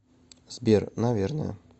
сбер наверное